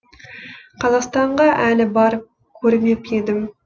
қазақстанға әлі барып көрмеп едім